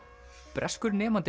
breskur nemandi